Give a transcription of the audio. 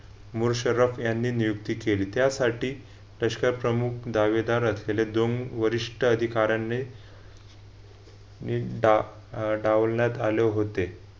मूळ शरफ यांनी नियुक्ती केली. त्यासाठी लष्कर प्रमुख दावेदार असलेले दोन वरिष्ठ अधिकाऱ्याने मी डा अह डावलण्यात आले होते.